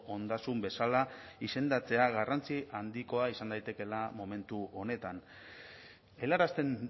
ondasun bezala izendatzea garrantzia handikoa izan daitekeela momentu honetan helarazten